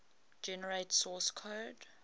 generate source code